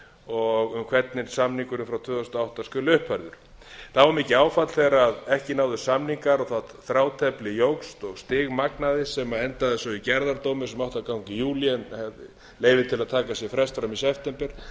og um hvernig samningurinn frá tvö þúsund og átta skuli uppfærður það var mikið áfall þegar ekki náðust samningar og það þrátefli jókst og stigmagnaðist sem endaði svo í gerðardómi sem átti að ganga í júlí en fékk leyfi til að taka sér frest fram í september